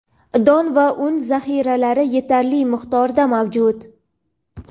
don va un zaxiralari yetarli miqdorda mavjud.